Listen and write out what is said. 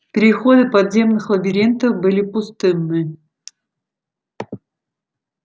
переходы подземных лабиринтов были пустынны